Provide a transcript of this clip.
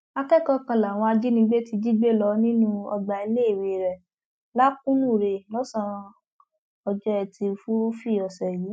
akẹkọọ kan làwọn ajìnigbé ti jí gbé lọ nínú ọgbà iléèwé rẹ lakunure lọsànán ọjọ etí furuufee ọsẹ yìí